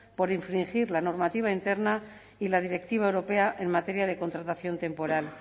por infringir la normativa interna y la directiva europea en materia de contratación temporal